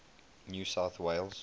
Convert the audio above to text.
new south wales